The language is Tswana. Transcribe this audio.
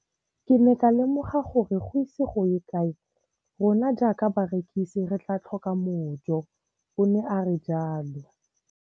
Ke ne ka lemoga gore go ise go ye kae rona jaaka barekise re tla tlhoka mojo, o ne a re jalo.